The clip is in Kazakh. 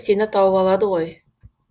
сені тауып алады ғой